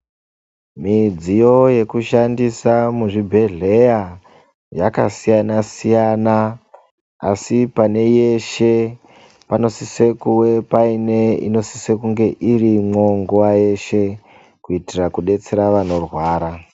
Midziyo yekushandisa muzvibhedhleya yakasiyana siyana, asi pane yeshe panosise kuwe paine inosise kunge irimwo nguwa yeshe. Kuitira kudetsera vanorwara.